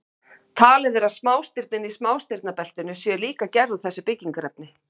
Talið er að smástirnin í smástirnabeltinu séu líka gerð úr þessu byggingarefni.